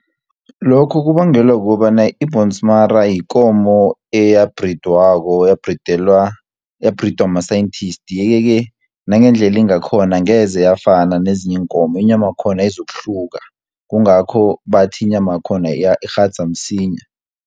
Lokhu kubangelwa kukobana i-bhonsmara yikomo eyabhridwako yabhridwa ma-scientist, yeke-ke nangendlela ingakhona angeze yafana nezinye iinkomo, inyama yakhona izokuhluka, kungakho bathi inyama yakhona ikghadza msinya.